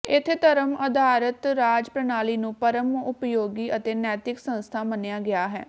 ਇੱਥੇ ਧਰਮ ਆਧਾਰਤ ਰਾਜ ਪ੍ਰਣਾਲੀ ਨੂੰ ਪਰਮ ਉਪਯੋਗੀ ਅਤੇ ਨੈਤਿਕ ਸੰਸਥਾ ਮੰਨਿਆ ਗਿਆ ਹੈ